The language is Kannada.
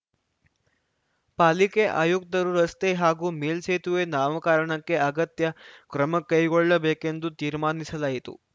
ಪಾಲಿಕೆ ಆಯುಕ್ತರು ರಸ್ತೆ ಹಾಗೂ ಮೇಲ್ಸೇತುವೆ ನಾಮಕರಣಕ್ಕೆ ಅಗತ್ಯ ಕ್ರಮ ಕೈಗೊಳ್ಳಬೇಕೆಂದು ತೀರ್ಮಾನಿಸಲಾಯಿತು